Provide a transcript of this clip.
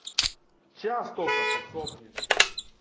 сейчас только подсохнет все